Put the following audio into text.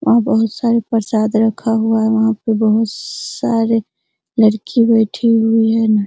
वहाँ बहुत सारे प्रसाद रखा हुआ है वहाँ पे बहुत सारे लड़की बैठी हुई है।